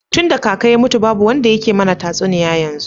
Tunda kaka ya mutu ba wanda yake mana tatsuniya yanzu.